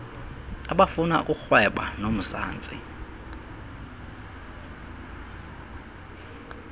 abafuna ukurhweba nomzantsi